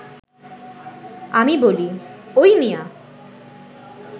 আমি বলি, ওই মিয়া